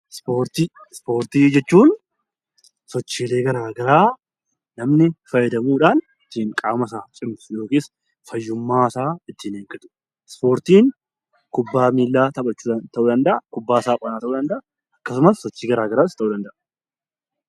Ispoortii ispoortii jechuun sochiikee garagaraa namni fayyadamuudhaan qaama isaa cimsu yookaan fayyummaasaa ittiin eeggata ispoortiin kubbaa miillaa taphachuun ta'uu danda'a kubbaa saaphanaan ta'uu danda'a. Akkasumas sochii gara garaas ta'uu danda'a .